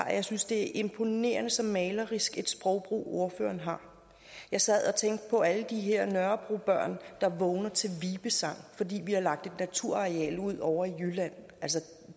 at jeg synes det er imponerende så malerisk et sprogbrug ordføreren har jeg sad og tænkte på alle de her nørrebrobørn der vågner til vibesang fordi vi har lagt et naturareal ud ovre i jylland altså